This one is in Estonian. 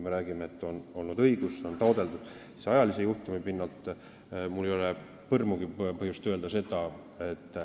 Me räägime, et on olnud õigus ja on esitatud taotlus.